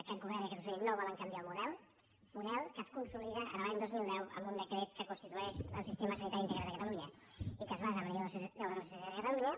aquest govern i aquest conseller no volen canviar el model que es consolida l’any dos mil deu amb un decret que constitueix el sistema sanitari integral de catalunya i que es basa en la llei d’ordenació sanitària de catalunya